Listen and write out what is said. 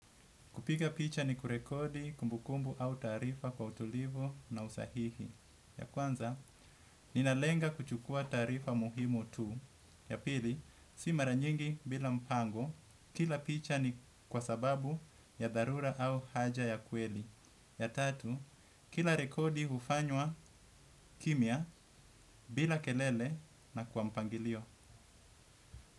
Kupiga picha ni kurekodi kumbukumbu au taarifa kwa utulivu na usahihi. Ya kwanza, ninalenga kuchukua taarifa muhimu tu. Ya pili, si maranyingi bila mpango kila picha ni kwa sababu ya dharura au haja ya kweli. Ya tatu, kila rekodi ufanywa kimya bila kelele na kwa mpangilio.